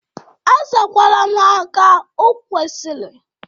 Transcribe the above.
Azakwara m ha ka okwesiri.